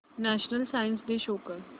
national science day show कर